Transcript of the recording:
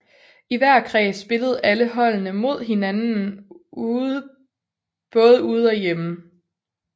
I hver kreds spillede alle holdene mod hinden både ude og hjemme